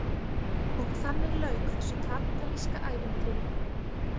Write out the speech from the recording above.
Og þannig lauk þessu kapítalíska ævintýri.